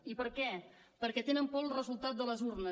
i per què perquè tenen por del resultat de les urnes